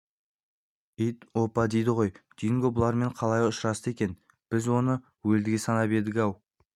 ит опа дейді ғой динго бұлармен қалай ұшырасты екен біз оны өлдіге санап едік-ау